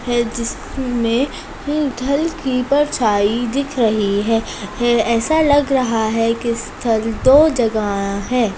है जिसमे उथल की परछाई दिख रही है ऐसा लग रहा है की स्थल दो जगह है।